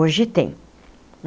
Hoje tem.